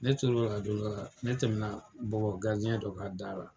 Ne tor'o la don dɔ la ne tɛmɛ bɔbɔ dɔ ka dara.